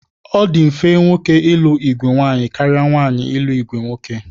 Ọ dị mfe nwoke ịlụ ìgwè nwaanyị karịa nwaanyị ịlụ ìgwè nwoke